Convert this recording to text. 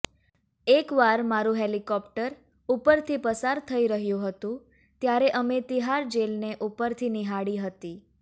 એકવાર મારું હેલિકોપ્ટર ઉપરથી પસાર થઈ રહ્યું હતું ત્યારે અમે તિહાર જેલને ઉપરથી નિહાળી હતી